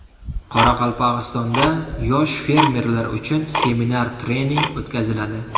Qoraqalpog‘istonda yosh fermerlar uchun seminar-trening o‘tkaziladi.